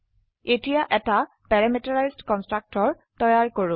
এতিয়াএটা parameterised constructor তৈয়াৰ কৰো